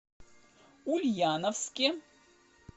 ульяновске